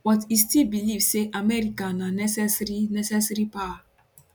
but e still believe say america na necessary necessary power